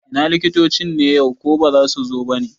Ina likitocin ne yau, ko baza su zo bane?